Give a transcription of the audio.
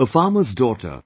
A farmer's daughter,